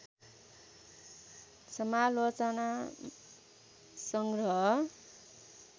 समालोचना सङग्रह